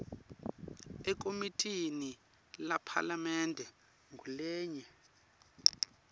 ekomitini lephalamende ngulenye